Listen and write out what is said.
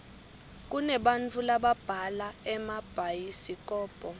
kunebantau lababhala emabhayisikobho